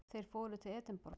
Þeir fóru til Edinborgar.